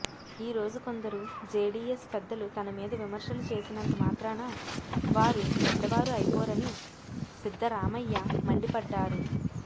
ఈ రోజు కొందరు జేడీఎస్ పెద్దలు తన మీద విమర్శలు చేసినంత మాత్రాన వారు పెద్దవారు అయిపోరని సిద్దరామయ్య మండిపడ్డారు